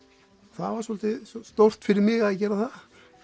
það var svolítið stórt fyrir mig að gera það